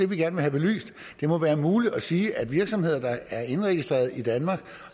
vil have belyst det må være muligt at sige at virksomheder der er indregistreret i danmark